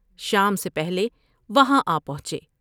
شام سے پہلے وہاں آ پہنچے ۔